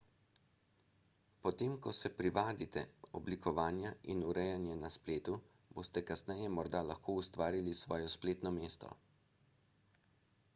potem ko se privadite oblikovanja in urejanja na spletu boste kasneje morda lahko ustvarili svoje spletno mesto